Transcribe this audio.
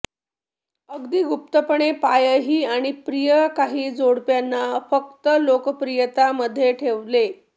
अगदी गुप्तपणे पायही आणि प्रिय काही जोडप्यांना फक्त लोकप्रियता मध्ये ठेवले